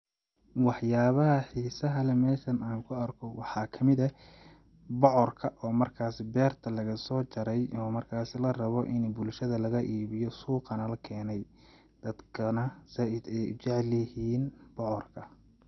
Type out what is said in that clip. Wax yaabaha xiisaha leh meeshan aan ku arko waxaa kamid eh ,bocorka oo markaasi beerta lagasoo jaray ,oo markaasi la rabo in bulashada laga iibiyo ,suuqana la keenay ,dadkana zaaid ayeey u jacel yihiin bocorka.